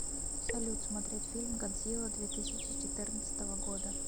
салют смотреть фильм годзилла две тысячи четырнадцатого года